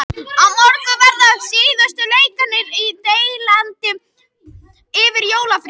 Á morgun verða svo síðustu leikirnir í deildinni fyrir jólafrí.